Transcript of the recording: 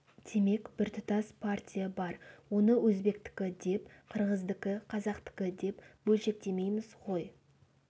демек біртұтас партия бар оны өзбектікі деп қырғыздікі қазақтікі деп бөлшектемейміз ғой